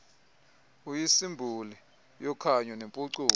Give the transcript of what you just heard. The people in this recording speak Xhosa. uyisimboli yokhanyo nempucuko